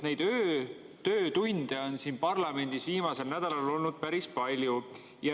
Neid öötöötunde on siin parlamendis viimasel nädalal olnud päris palju.